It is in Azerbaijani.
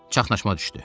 Çaxnaşma düşdü.